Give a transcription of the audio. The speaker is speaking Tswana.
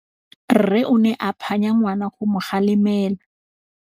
Rre o ne a phanya ngwana go mo galemela.